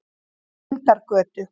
Lindargötu